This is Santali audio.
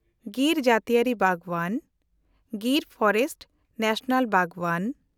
ᱜᱤᱨ ᱡᱟᱹᱛᱤᱭᱟᱹᱨᱤ ᱵᱟᱜᱽᱣᱟᱱ (ᱜᱤᱨ ᱯᱷᱚᱨᱮᱥᱴ ᱱᱮᱥᱱᱟᱞ ᱵᱟᱜᱽᱣᱟᱱ)